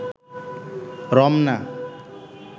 Ramna